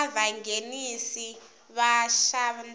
ka vanghenisi va xandla na